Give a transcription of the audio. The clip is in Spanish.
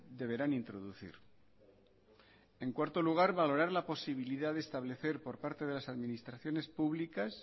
deberán introducir en cuarto lugar valorar la posibilidad de establecer por parte de las administraciones públicas